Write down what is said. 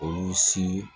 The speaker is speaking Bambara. Olu si